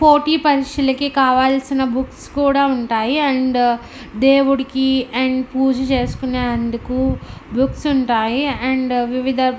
పోటీ పరీక్షలకి కావాల్సిన బుక్స్ కూడా ఉంటాయి అండ్ దేవుడుకి అండ్ పూజ చేసుకొనే అందుకు బుక్స్ ఉంటాయి అండ్ వివిధ--